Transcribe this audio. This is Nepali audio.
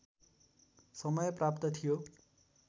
समय प्राप्त थियो